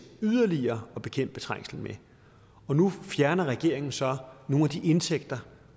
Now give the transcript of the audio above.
yderligere at bekæmpe trængselen med og nu fjerner regeringen så nogle af de indtægter